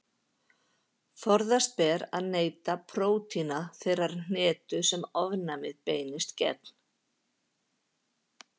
Forðast ber að neyta prótína þeirrar hnetu sem ofnæmið beinist gegn.